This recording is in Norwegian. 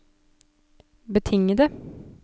betingede